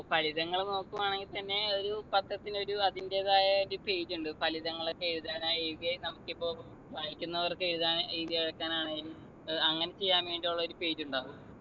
ഫലിതങ്ങൾ നോക്കുകയാണെങ്കി തന്നെ ഒരു പത്രത്തിൻ്റെ ഒരു അതിന്‍റേതായ ഒരു page ഉണ്ട് ഫലിതങ്ങളൊക്കെ എഴുതാൻ ആയിക്കെ നമുക്കിപ്പോ വായിക്കുന്നവർക്ക് എഴുതാൻ എഴുതി അയക്കാൻ ആണെലും ഏർ അങ്ങന ചെയ്യാൻ വേണ്ടി ഉള്ള ഒരു page ണ്ടാവും